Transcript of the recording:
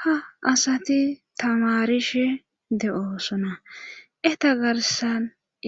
Ha asati tamarishe de'oosona eta garsan